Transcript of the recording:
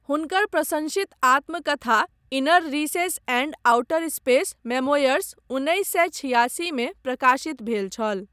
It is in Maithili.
हुनकर प्रशंसित आत्मकथा, inner recess and outer space, memoirs, उन्नैस सए छियासी मे प्रकाशित भेल छल।